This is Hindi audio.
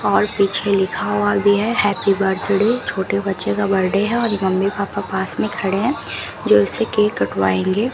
और पीछे लिखा हुआ भी है हैप्पी बर्थडे छोटे बच्चे का बर्थडे है और मम्मी पापा पास में खड़े हैं जो इसे केक कटवाएंगे।